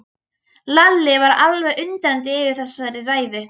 Lalli var alveg undrandi yfir þessari ræðu.